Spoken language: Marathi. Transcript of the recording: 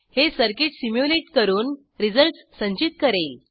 हे सर्किट सिम्युलेट करून रिझल्ट्स संचित करेल